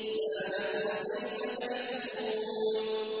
مَا لَكُمْ كَيْفَ تَحْكُمُونَ